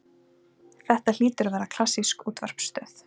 Þetta hlýtur að vera klassísk útvarpsstöð.